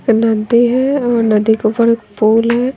फिर नदी है और नदी के ऊपर एक पोल है।